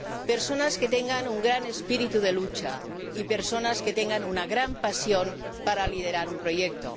personas que tengan un gran espíritu de lucha, y personas que tengan una gran pasión para liderar un proyecto.